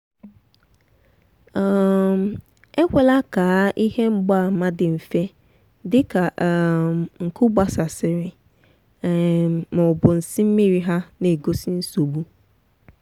um ekwela kaa ihe mgbaàmà dị nfe dị ka um nku gbasasịrị um ma ọ bụ nsị mmiri—ha na-egosi nsogbu.